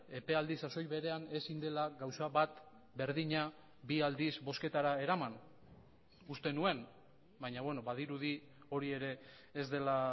epealdi sasoi berean ezin dela gauza bat berdina bi aldiz bozketara eraman uste nuen baina badirudi hori ere ez dela